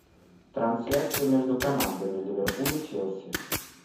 трансляция между командами ливерпуль и челси